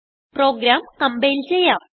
programme compile ചെയ്യാം